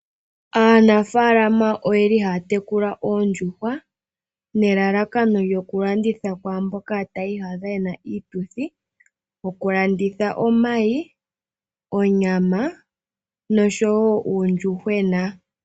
Aanafaalama oyeli haya tekula oondjuhwa nelalakano lyo ku landitha kwaamboka tayi iyadha yena iituthi ,oku landitha omayi, onyama nosho woo uundjuhwena .